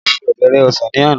A fi ọbẹ̀ rẹ ọsàn ní àná